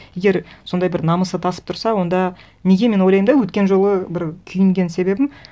егер сондай бір намысы тасып тұрса онда неге мен ойлаймын да өткен жолы бір күйінген себебім